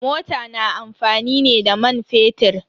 Mota na amfani ne da man fetir.